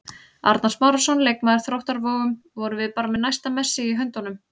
Arnar Smárason, leikmaður Þróttar Vogum: Vorum við bara með næsta Messi í höndunum?